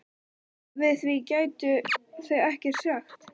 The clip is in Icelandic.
Við því gætu þau ekkert sagt.